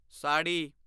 sari